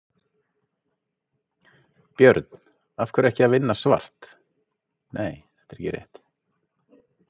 Björn: Af hverju er ekki í lagi að vinna svart?